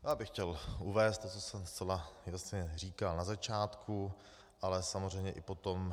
Já bych chtěl uvést to, co jsem zcela jasně říkal na začátku, ale samozřejmě i potom.